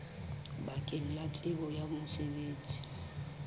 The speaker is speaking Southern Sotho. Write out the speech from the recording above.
bakeng la tsebo ya mosebetsi